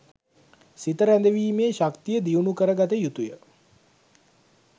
සිත රැඳවීමේ ශක්තිය දියුණු කරගත යුතුය.